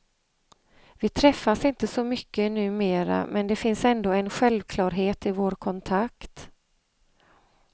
Vi träffas inte så mycket numera, men det finns ändå en självklarhet i vår kontakt.